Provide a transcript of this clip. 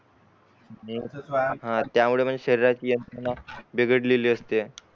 त्यमुळे म्हणजे शरीराची यंत्रणा भिघडलेली असते